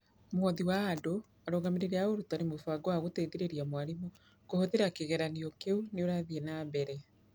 Mũhothi wa Andũ, Arũgamĩri a Ũrutani Mũbango wa gũteithĩrĩria mwarimũ kũhũthĩra kĩgeranio kĩu nĩ ũrathiĩ na mbere.